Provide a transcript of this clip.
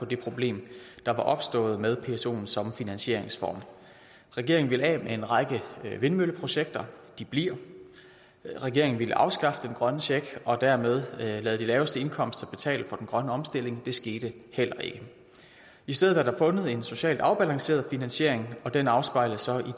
det problem der var opstået med psoen som finansieringsform regeringen ville af med en række vindmølleprojekter de bliver regeringen ville afskaffe den grønne check og dermed lade dem med de laveste indkomster betale for den grønne omstilling det skete heller ikke i stedet er der fundet en socialt afbalanceret finansiering og den afspejles